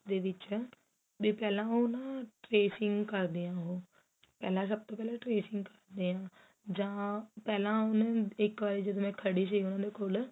ਵਿੱਚ ਦੇ ਪਹਿਲਾਂ ਉਹ ਨਾ trashing ਕਰਦੇ ਹੈ ਉਹ ਪਹਿਲਾਂ ਸਭ ਤੋ ਪਹਿਲਾਂ trashing ਕਰਦੇ ਹੈ ਜਾਂ ਪਹਿਲਾਂ ਉਹਨੇ ਇੱਕ ਵਾਰੀ ਜਦੋ ਮੈ ਖੜੀ ਸੀ ਉਹਨਾ ਦੇ ਕੋਲ